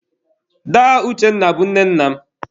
Daa Uchenna bụ nne nna m.